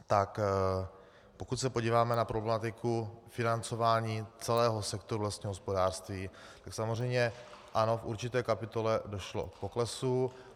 Tak pokud se podíváme na problematiku financování celého sektoru lesního hospodářství, tak samozřejmě ano, v určité kapitole došlo k poklesu.